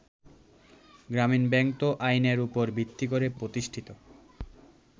গ্রামীন ব্যাংক তো আইনের উপর ভিত্তি করে প্রতিষ্ঠিত।